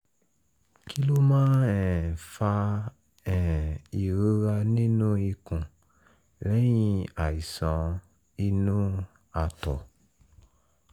kí ló máa um ń fa um ìrora nínú ikùn lẹ́yìn àìsàn inú àtọ̀?